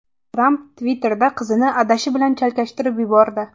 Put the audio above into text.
Tramp Twitter’da qizini adashi bilan chalkashtirib yubordi.